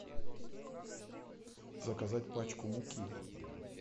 заказать пачку муки